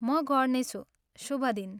म गर्नेछु। शुभ दिन।